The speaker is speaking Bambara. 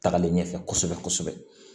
Tagalen ɲɛfɛ kosɛbɛ kosɛbɛ